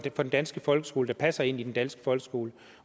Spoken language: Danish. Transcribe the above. danske folkeskole der passer ind i den danske folkeskole